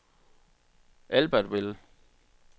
Albertville